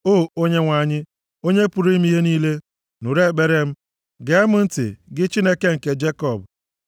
O Onyenwe anyị, Onye pụrụ ime ihe niile, nụrụ ekpere m. Gee m ntị, gị Chineke nke Jekọb.